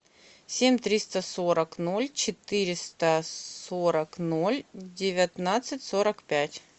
семь триста сорок ноль четыреста сорок ноль девятнадцать сорок пять